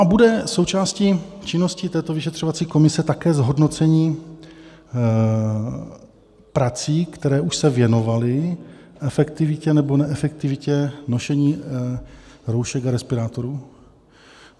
A bude součástí činnosti této vyšetřovací komise také zhodnocení prací, které už se věnovaly efektivitě nebo neefektivitě nošení roušek a respirátorů?